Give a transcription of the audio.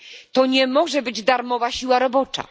To nie może być darmowa siła robocza.